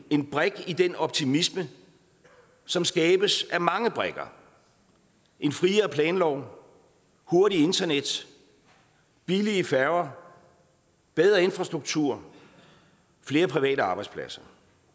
en brik i den optimisme som skabes af mange brikker en friere planlov hurtigt internet billige færger bedre infrastruktur flere private arbejdspladser